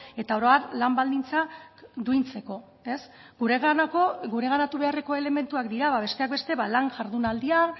eta oro har lan baldintzak duintzeko gureganatu beharreko elementuak dira besteak beste lan jardunaldia